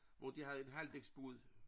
Hvor de havde en halvdæksbåd